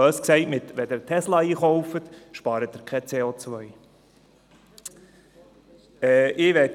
Bös gesagt: Wenn Sie einen Tesla kaufen, sparen Sie kein CO ein.